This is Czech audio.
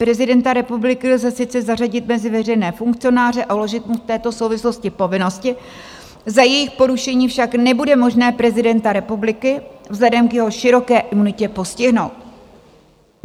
Prezidenta republiky lze sice zařadit mezi veřejné funkcionáře a uložit mu v této souvislosti povinnosti, za jejich porušení však nebude možné prezidenta republiky vzhledem k jeho široké imunitě postihnout.